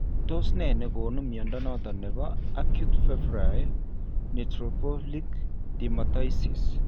Tos nee nekonu mnyondo noton nebo acute febrile neutrophilic dermatosis?